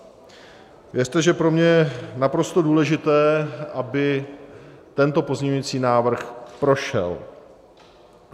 Věřte, že pro mě je naprosto důležité, aby tento pozměňující návrh prošel.